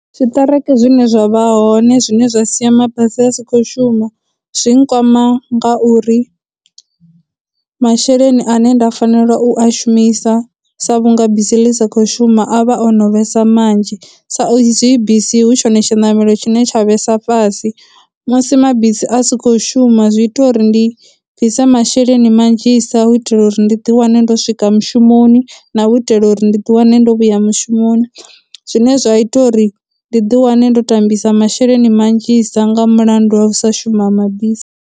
Tshiṱereke zwine zwa vha hoṋe zwine zwa sia mabasi a si khou shuma, zwi nkwama ngauri masheleni ane nda fanela u a shumisa sa vhunga bisi ḽi sa kho shuma a vha o no vhesa manzhi sa izwi bisi hu tshone tshiṋamelo tshine tsha vhesa fhasi, musi mabisi a si khou shuma zwi ita uri ndi bvise masheleni manzhisa u itela uri ndi ḓi wane ndo swika mushumoni, na u itela uri ndi ḓi wane ndo vhuya mushumoni, zwine zwa ita uri ndi ḓi wane ndo tambisa masheleni manzhisa nga mulandu wa u sa shuma ha mabisi.